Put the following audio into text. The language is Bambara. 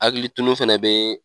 Hakili tunun fɛnɛ bɛ